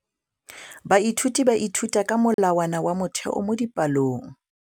Baithuti ba ithuta ka molawana wa motheo mo dipalong.